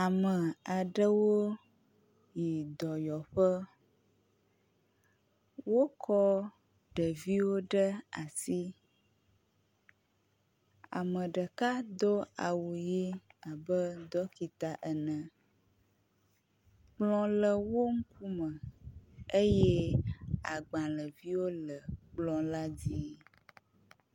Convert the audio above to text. Ame aɖewo yi dɔyɔƒe, wokɔ ɖeviwo ɖe asi. Ame ɖeka do awu ʋɛ̃ abe ɖɔkita ene, kplɔ le wo ŋkume eye agbalẽviwo le kplɔ la dzi.